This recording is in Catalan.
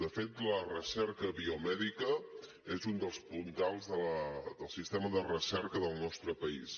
de fet la recerca biomèdica és un dels puntals del sistema de recerca del nostre país